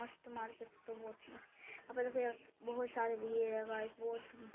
मस्त मार्केट तो बहुत ही मस्त --